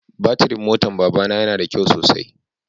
Batirin motan baba na ya na da kyau sosai.